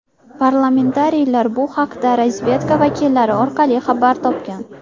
Parlamentariylar bu haqda razvedka vakillari orqali xabar topgan.